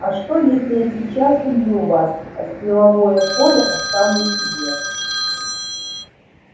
а что если я сейчас убью вас а силовое поле оставлю себе